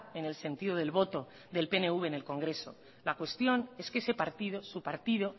en el sentido del voto del pnv en el congreso la cuestión es que ese partido su partido